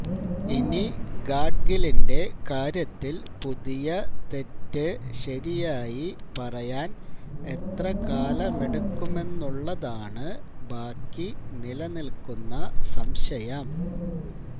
ഇനി ഗാഡ്ഗിലിന്റെ കാര്യത്തില് പുതിയ തെറ്റ് ശരിയായി പറയാന് എത്രകാലമെടുക്കുമെന്നുളളതാണ് ബാക്കി നില്ക്കുന്ന സംശയം